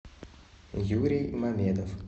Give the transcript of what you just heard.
юрий мамедов